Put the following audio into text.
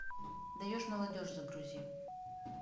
даешь молодежь загрузи